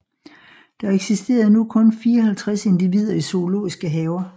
Der eksisterede nu kun 54 individer i zoologiske haver